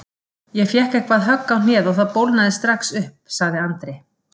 Ég fékk eitthvað högg á hnéð og það bólgnaði strax upp sagði Andri.